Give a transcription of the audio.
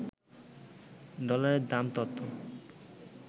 ডলারের দাম তত